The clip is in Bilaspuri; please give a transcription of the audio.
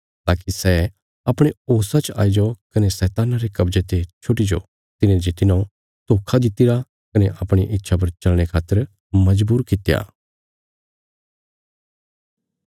ताकि सै अपणे होशा च आईजो कने शैतान्ना रे कब्जे ते छुटी जाओ तिने जे तिन्हौं धोखा दित्तिरा कने अपणिया इच्छा पर चलने खातर मजबूर कित्या